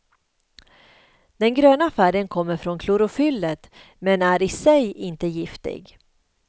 Den gröna färgen kommer från klorofyllet, men är i sig inte giftig.